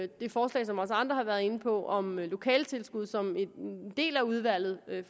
det forslag som også andre har været inde på om lokaletilskud som en del af udvalget